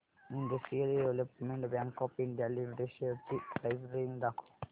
industrial development bank of India limited shares ची price range दाखव